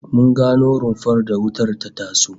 Mun gano rumfar da wutar ta taso